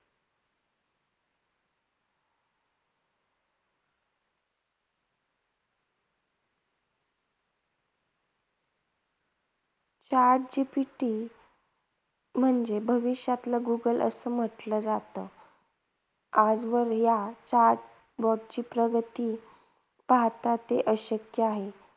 Chat GPT म्हणजे भविष्यातलं Google असं म्हटलं जात. आजवर या chatBOT ची प्रगती पाहता ते अशक्य आहे,